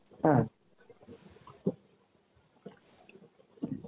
হ্যাঁ